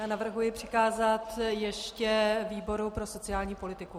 Já navrhuji přikázat ještě výboru pro sociální politiku.